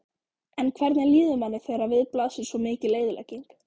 En hvernig líður manni þegar við blasir svo mikil eyðilegging?